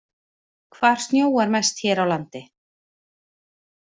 Hvar snjóar mest hér á landi?